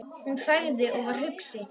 Hún þagði og var hugsi.